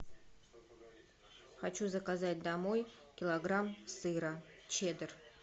хочу заказать домой килограмм сыра чеддер